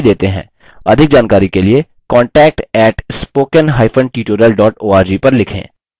अधिक जानकारी के लिए contact @spokentutorial org पर लिखें